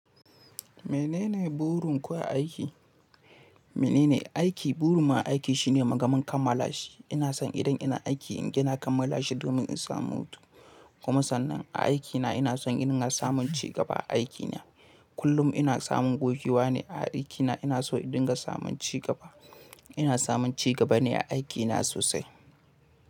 Menene burin ku a aiki? Mene ne aiki? Burin mu a aiki shine muga mun kammala shi. Ina son idan ina aiki inga na kammala shi domin in samu hutu. Kuma sannan a aikina ina son ina samun cigaba a aikina. Kullum ina samun gogewa ne a aikina. Ina so in dinga samun cigaba. Ina samun cigaba ne a aikina sosai.